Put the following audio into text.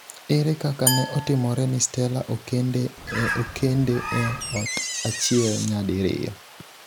Ere kaka ne otimore ni Stella okende e ot achiel nyadi riyo?